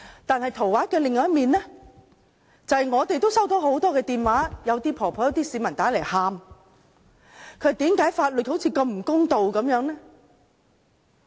但是圖畫的另一面，就是我們也接獲很多來電，一些婆婆和市民來電哭着問為何法律似乎如此不公的呢？